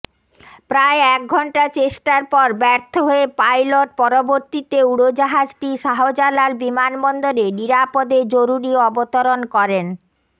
প্রায় একঘণ্টা চেষ্টার পর ব্যর্থ হয়ে পাইলট পরবর্তীতে উড়োজাহাজটি শাহজালাল বিমানবন্দরে নিরাপদে জরুরি অবতরণ করেন